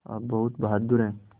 आप बहुत बहादुर हैं